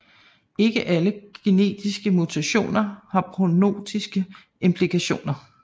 Ikke alle kendte genetiske mutationer har prognostiske implikationer